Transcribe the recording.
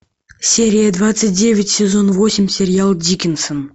серия двадцать девять сезон восемь сериал дикинсон